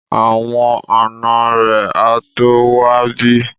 Àwọn ànọ́ rẹ̀ á tó wá bí